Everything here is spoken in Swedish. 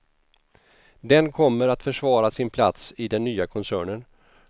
Den kommer att försvara sin plats i den nya koncernen.